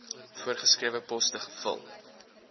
voorgeskrewe poste gevul